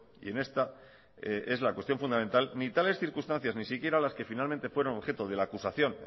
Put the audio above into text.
y en esta es la cuestión fundamental ni tales circunstancias ni siquiera las que finalmente fueron objeto de la acusación